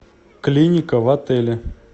клиника в отеле